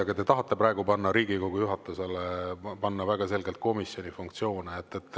Aga te tahate praegu Riigikogu juhatusele panna väga selgelt komisjoni funktsioone.